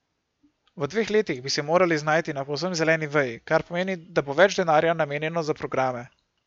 V dveh letih bi se morali znajti na povsem zeleni veji, kar pomeni, da bo več denarja namenjeno za programe.